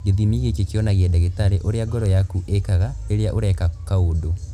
Gĩthimi gĩkĩ kĩonagia ndagĩtarĩ ũrĩa ngoro yaku ĩĩkaga rĩrĩa ũreka kaũndũ.